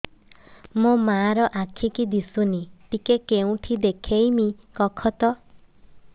ମୋ ମା ର ଆଖି କି ଦିସୁନି ଟିକେ କେଉଁଠି ଦେଖେଇମି କଖତ